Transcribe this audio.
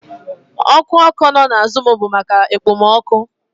Oku oko no na azụm bụ maka ekpomọkụ